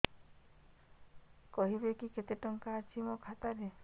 କହିବେକି କେତେ ଟଙ୍କା ଅଛି ମୋ ଖାତା ରେ